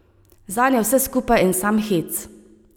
Zanj je vse skupaj en sam hec.